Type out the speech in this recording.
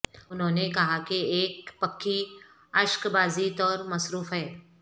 انہوں نے کہا کہ ایک پکی اشکبازی طور مصروف ہے